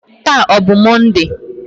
Taa ọ bụ Mọnde?